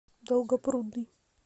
долгопрудный